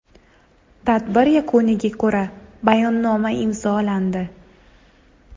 Tadbir yakuniga ko‘ra Bayonnoma imzolandi.